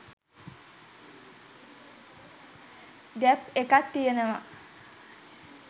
gap එකක් තියනව